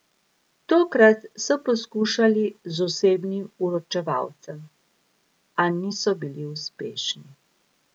Tokrat so poskušali z osebnim vročevalcem, a niso bili uspešni.